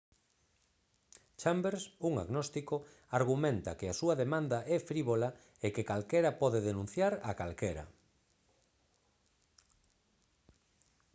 chambers un agnóstico argumenta que a súa demanda é frívola e que calquera pode denunciar a calquera